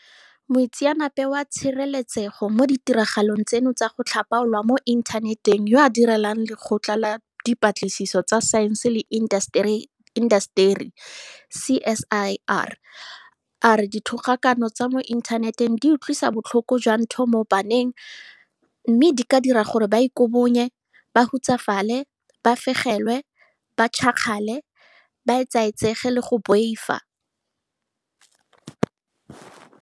Moitseanape wa tshireletsego mo ditiragalong tseno tsa go tlhapaolwa mo inthaneteng yo a direlang Lekgotla la Di patlisiso tsa Saense le Intaseteri CSIR a re dithogakano tsa mo inthaneteng di utlwisa botlhoko jwa ntho mo baneng mme di ka dira gore ba ikobonye, ba hutsafale, ba fegelwe, ba tšhakgale, ba etsaetsege le go boifa.